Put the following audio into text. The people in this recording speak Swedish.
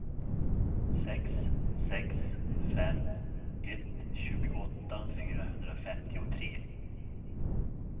sex sex fem ett tjugoåtta fyrahundrafemtiotre